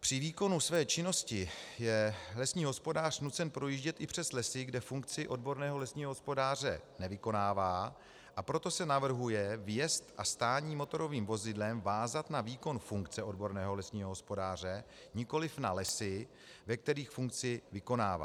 Při výkonu své činnost je lesní hospodář nucen projíždět i přes lesy, kde funkci odborného lesního hospodáře nevykonává, a proto se navrhuje vjezd a stání motorovým vozidlem vázat na výkon funkce odborného lesního hospodáře, nikoliv na lesy, ve kterých funkci vykonává.